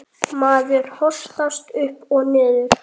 Maður hossast upp og niður.